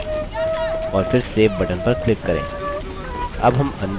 और फिर save button पर click करें